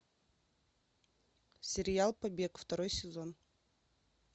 сериал побег второй сезон